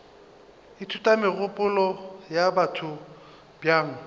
ithuta megopolo ya batho bjang